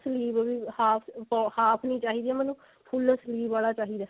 sleeve ਵੀ half half ਨਹੀ ਚਾਹੀਦੀ ਮੈਨੂੰ full sleeve ਆਲਾ ਚਾਹੀਦਾ